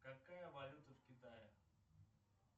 какая валюта в китае